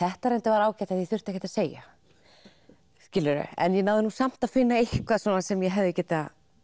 þetta er en þetta var ágætt því ég þurfti ekkert að segja en ég náði samt að finna eitthvað sem ég hefði getað